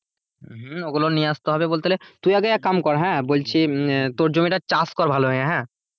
হম ওগুলো নিয়ে আসতে হবে বলতে গেলে তুই আগে এক কাম কর হ্যাঁ বলছি উম তোর জমিটা চাষ কর ভালো করে হ্যাঁ।